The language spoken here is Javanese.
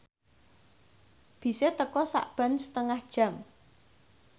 bise teka sakben setengah jam